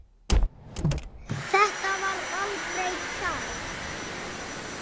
Þetta var aldrei kært.